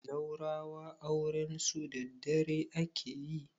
zaurawa aurensu daddare ake yi